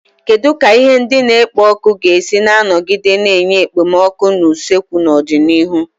Kedu ka ihe ndị na-ekpo ọkụ ga-esi nọgide na-enye okpomọkụ na usekwu n'ọdịnihu?